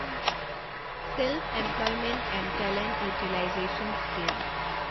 self employment and talent utilisation scheme